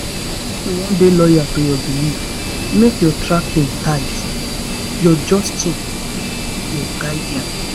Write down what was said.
if you wan dey loyal to your belief make your tracking tight. your jotting na your guardian.